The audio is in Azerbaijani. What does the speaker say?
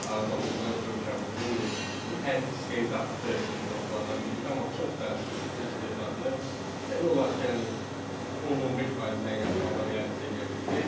Araz Abdullayev ölkəmizin yetişdirdiyi ən istedadlı futbolçulardan biri idi, amma çox təəssüf ki, bu istedadını demək olar ki, yəni 10-15%-dən yaxşı halda realizə eləyə bildi.